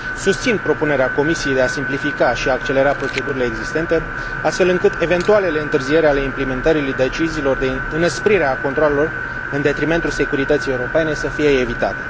Susțin propunerea Comisiei de a simplifica și accelera procedurile existente, astfel încât eventualele întârzieri ale implementării deciziilor de înăsprire a controalelor în detrimentul securității europene să fie evitate.